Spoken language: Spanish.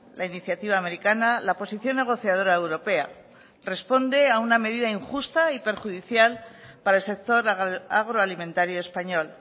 la iniciativa americana la posición negociadora europea responde a una medida injusta y perjudicial para el sector agroalimentario español